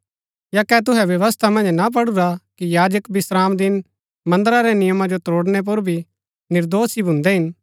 या कै तुहै व्यवस्था मन्ज ना पढुरा कि याजक विश्रामदिन मन्दरा रै नियमा जो त्रोड़णै पुर भी निर्दोष ही भून्दै हिन